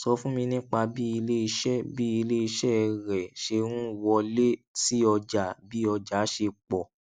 sọ fún mi nípa bí ilé iṣẹ bí ilé iṣẹ rẹ ṣe ń wọlé sí ọjà bí ọjà ṣe pọ̀